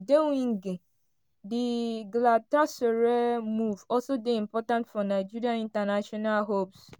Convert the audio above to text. odemwingie di galatasaray move also dey important for nigeria international hopes.